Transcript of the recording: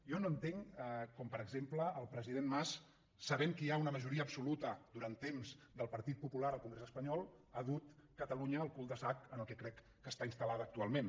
jo no entenc com per exemple el president mas sabent que hi ha una majoria absoluta durant temps del partit popular al congrés espanyol ha dut catalunya al cul de sac en què crec que està instal·lada actualment